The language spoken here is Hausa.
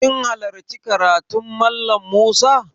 Kin hallarci karatun Mallam Musa?